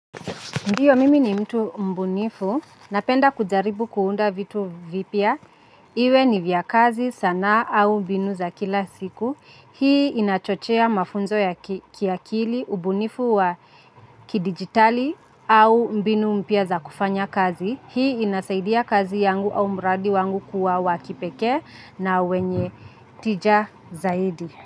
Ndiyo mimi ni mtu mbunifu, napenda kujaribu kuunda vitu vipya, iwe ni vya kazi sanaa au mbinu za kila siku, hii inachochea mafunzo ya kiakili, ubunifu wa kidigitali au mbinu mpya za kufanya kazi, hii inasaidia kazi yangu au mradi wangu kuwa wa kipekee na wenye tija zaidi.